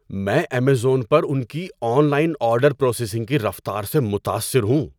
میں ایمیزون پر ان کی آن لائن آرڈر پروسیسنگ کی رفتار سے متاثر ہوں۔